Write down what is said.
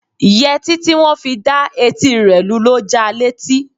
Yẹtí tí wọn fi dá etí rẹ lu ló ja létí.